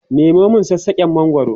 Nemo min sassaken mangwaro!